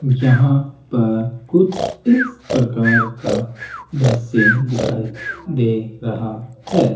यहां पर कुछ इस प्रकार का दृश्य दिखाई दे रहा है।